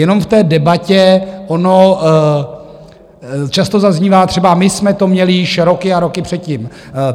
Jenom k té debatě, ono často zaznívá třeba: My jsme to měli již roky a roky předtím.